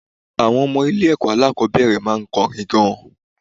Àwọn ọmọ ilé ìwé aláàkọ́bẹ̀rẹ̀ máa ń kọrin gan.